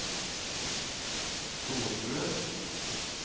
storstue